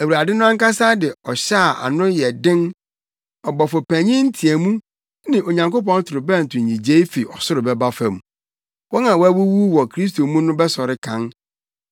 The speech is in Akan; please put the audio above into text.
Awurade no ankasa de ɔhyɛ a ano yɛ den, ɔbɔfo panyin nteɛmu ne Onyankopɔn torobɛnto nnyigye fi ɔsoro bɛba fam. Wɔn a wɔawuwu wɔ Kristo mu no bɛsɔre kan,